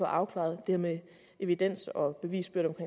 afklaret det med evidens og bevisbyrde